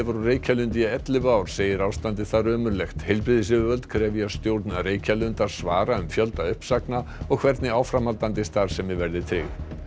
á Reykjalundi í ellefu ár segir ástandið þar ömurlegt heilbrigðisyfirvöld krefja stjórn Reykjalundar svara um fjölda uppsagna og hvernig áframhaldandi starfsemi verði tryggð